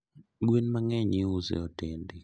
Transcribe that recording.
Gwen mangeny iuso e hotende